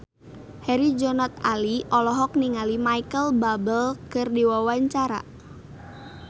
Herjunot Ali olohok ningali Micheal Bubble keur diwawancara